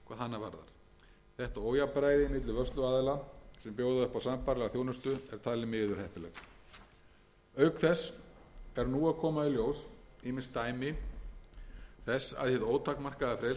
á sambærilega þjónustu er talið miður heppilegt auk þess eru nú að koma í ljós ýmis dæmi þess að hið ótakmarkaða frelsi til fjárfestinga sem einstakir vörsluaðilar hafa notið